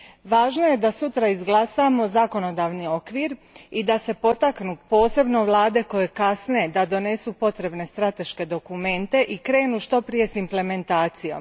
Važno je da sutra izglasamo zakonodavni okvir i da se potaknu posebno vlade koje kasne da donesu potrebne strateške dokumente i krenu što prije s implementacijom.